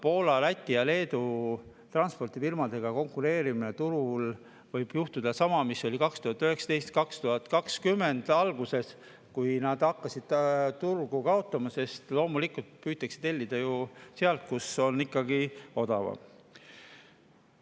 Poola, Läti ja Leedu transpordifirmadega turul konkureerides võib juhtuda sama, mis oli 2019. aastal ja 2020. aasta alguses, kui hakati turgu kaotama, sest loomulikult püütakse tellida ju ikkagi sealt, kus on odavam.